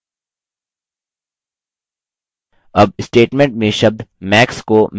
अब statement में शब्द max को min से बदलें